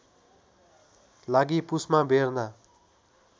लागि पुसमा बेर्ना